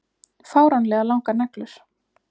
Fáránlega langar neglur.